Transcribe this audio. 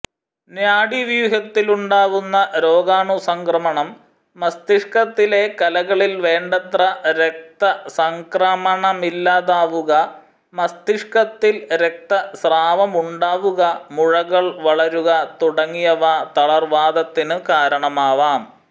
നാഡീവ്യൂഹത്തിലുണ്ടാവുന്ന രോഗാണുസംക്രമണം മസ്തിഷ്കത്തിലെ കലകളിൽ വേണ്ടത്ര രക്തസംക്രമണമില്ലാതാവുക മസ്തിഷ്കത്തിൽ രക്തസ്രാവമുണ്ടാവുക മുഴകൾ വളരുക തുടങ്ങിയവ തളർവാതത്തിനു കാരണമാവാം